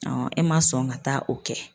e ma sɔn ka taa o kɛ.